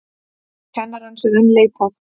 Kennarans enn leitað